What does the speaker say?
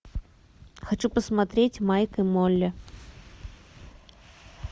хочу посмотреть майк и молли